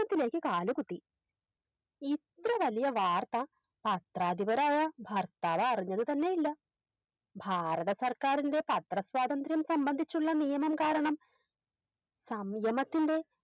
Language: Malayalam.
ത്തിലേക്ക് കാലുകുത്തി ഇത്രവലിയ വാർത്ത പത്രാധിപരായ ഭർത്താവ് അറിഞ്ഞത് തന്നെയില്ല ഭാരത സർക്കാരിൻറെ പത്ര സ്വാതന്ത്രം സംബന്ധിച്ചുള്ള നിയമം കാരണം സംയമത്തിൻറെ